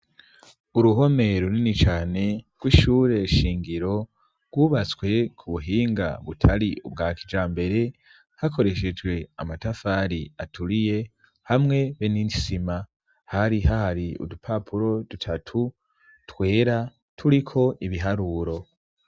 Uruhome runini cane rw'ishure shingiro rwubatswe ku buhinga butari ubwa kijambere hakoreshejwe amatafari aturiye hamwe be n'isima hari hahari udupapuro dutatu twera turiko ibiharuro.